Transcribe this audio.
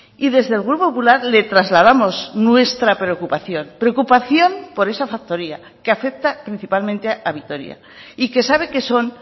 y desde el grupo popular le trasladamos nuestra preocupación preocupación por esa factoría que afecta principalmente a vitoria y que sabe que son